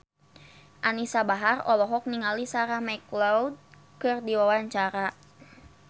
Anisa Bahar olohok ningali Sarah McLeod keur diwawancara